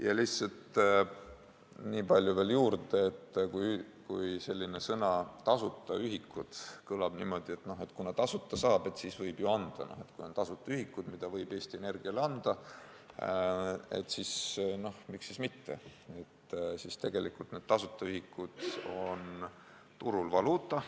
Ja lihtsalt nii palju veel juurde, et kuigi sõnapaar "tasuta ühikud" kõlab niimoodi, et kuna tasuta saab, siis võib ju anda – kui on tasuta ühikud, mida võib Eesti Energiale anda, siis miks mitte anda –, on tegelikult need tasuta ühikud turul valuuta.